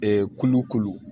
kulukolon